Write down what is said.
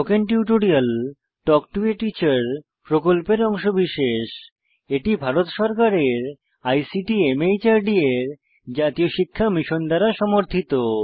spoken tutorial talk to a teacher প্রকল্পের অংশবিশেষ এটি ভারত সরকারের আইসিটি মাহর্দ এর জাতীয় শিক্ষা মিশন দ্বারা সমর্থিত